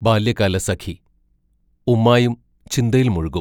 ബാല്യകാലസഖി ഉമ്മായും ചിന്തയിൽ മുഴുകും.